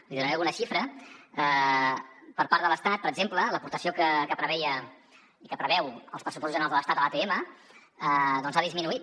li donaré alguna xifra per part de l’estat per exemple l’aportació que preveien i que preveuen els pressupostos generals de l’estat a l’atm doncs ha disminuït